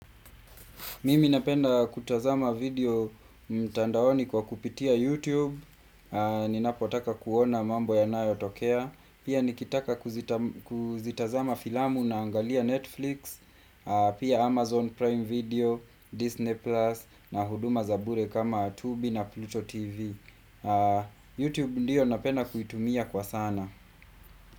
Mimi napenda kutazama video mtandaoni kwa kupitia YouTube, aah ninapotaka kuona mambo yanayo tokea Pia nikitaka kuzitazama filamu naangalia Netflix, pia Amazon Prime video, Disney Plus na huduma zabure kama Tubi na Pluto TV. YouTube ndiyo napenda kuitumia kwa sana.